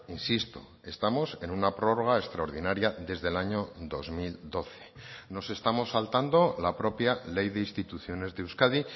insisto estamos en una prórroga extraordinaria desde el año dos mil doce nos estamos saltando la propia ley de instituciones de euskadi